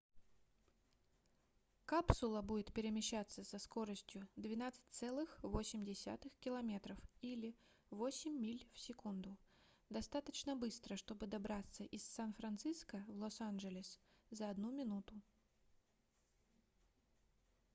капсула будет перемещаться со скоростью 12,8 км или 8 миль в секунду достаточно быстро чтобы добраться из сан-франциско в лос-анджелес за 1 минуту